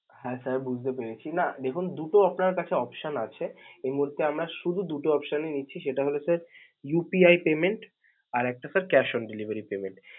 হ্যা sir বুঝতে পেরেছি. না দেখুন দু'টো আপনার কাছে option আছে, এ মুহূর্তে আমরা শুধু দু'টো option ই নিচ্ছি যেটা হচ্ছে সেটা হল sir UPI payment আরেকটা sir cash on deliver.